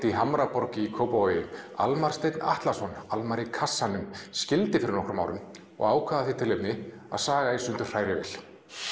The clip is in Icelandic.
í Hamraborg í Kópavogi Almar Steinn Atlason Almar í kassanum skildi fyrir nokkrum árum og ákvað af því tilefni að saga í sundur hrærivél